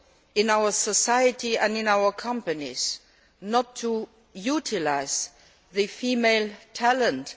in our society and in our companies not to utilise the female talent.